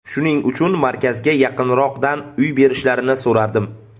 Shuning uchun markazga yaqinroqdan uy berishlarini so‘radim.